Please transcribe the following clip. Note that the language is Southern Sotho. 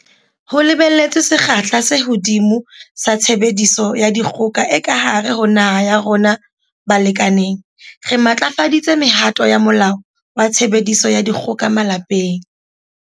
Ho lebelletswe sekgahla se hodimo sa tshebediso ya dikgoka e ka hare ho naha ya rona balekaneng, re matlafaditse mehato ya Molao wa Tshebediso ya Dikgoka Malapeng.